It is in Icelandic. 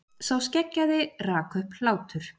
Sá skeggjaði rak upp hlátur.